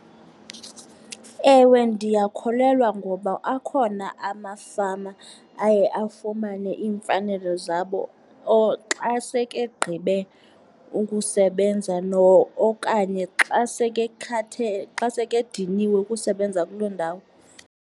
Ewe, ndiyakholelwa ngoba akhona amafama aye afumane iimfanelo zabo or xa seke egqibe ukusebenza okanye xa seke thathe , xa seke ediniwe kusebenza kuloo ndawo.